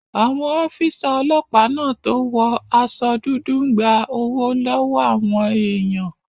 Àwọn ọ́físà ọlọ́pàá náà tó wọ aṣọ dúdú n gba owó lọ́wọ́ àwọn èèyàn